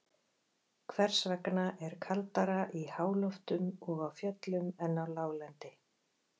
Hvers vegna er kaldara í háloftum og á fjöllum en á láglendi?